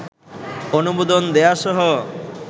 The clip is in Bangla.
অনুমোদন দেয়াসহ